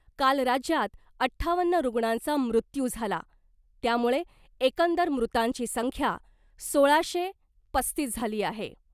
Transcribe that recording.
काल राज्यात अठ्ठावन्न रुग्णांचा मृत्यू झाला त्यामुळे एकंदर मृतांची संख्या सोळाशे पस्तीस झाली आहे .